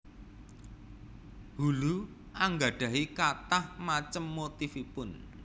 Hulu anggadhahi kathah macem motifipun